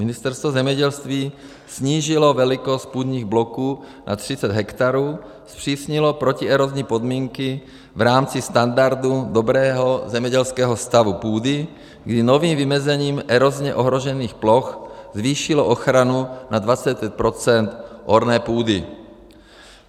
Ministerstvo zemědělství snížilo velikost půdních bloků na 30 hektarů, zpřísnilo protierozní podmínky v rámci standardu dobrého zemědělského stavu půdy, kdy novým vymezením erozně ohrožených ploch zvýšilo ochranu na 25 % orné půdy.